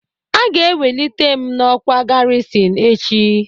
Aga ewelite m n'ọkwá garisin echi.